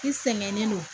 I sɛgɛnnen don